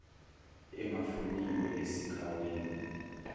engafuniwe esikh wameni